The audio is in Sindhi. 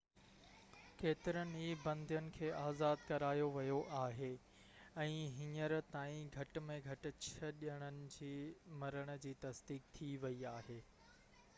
ڪيترن ئي بندين کي آزاد ڪرايو ويو آهي ۽ هينئر تائين گهٽ ۾ گهٽ ڇهہ ڄڻن جي مرڻ جي تصديق ٿي ويئي آهي